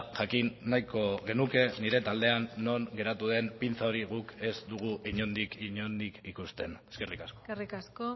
jakin nahiko genuke nire taldean non geratu den pinza hori guk ez dugu inondik inondik ikusten eskerrik asko eskerrik asko